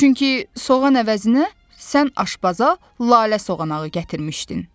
Çünki soğan əvəzinə sən aşbaza lale soğanağı gətirmişdin.